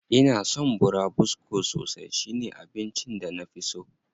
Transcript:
Ina son burabusko sosai, shi ne abincin da na fi so.